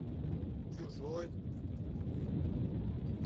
чужой